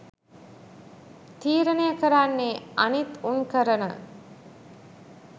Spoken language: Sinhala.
තිරණය කරන්නේ අනිත් උන් කරන